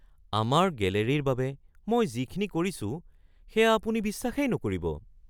আমাৰ গেলেৰীৰ বাবে মই যিখিনি কৰিছোঁ সেয়া আপুনি বিশ্বাসেই নকৰিব!